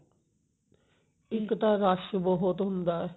ਇੱਕ ਤਾਂ rush ਬਹੁਤ ਹੁੰਦਾ